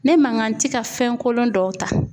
Ne man kan ti ka fɛn kolon dɔw ta.